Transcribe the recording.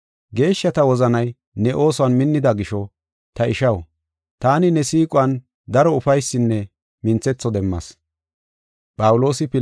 Geeshshata wozanay ne oosuwan minnida gisho, ta ishaw, taani ne siiquwan daro ufaysinne minthetho demmas.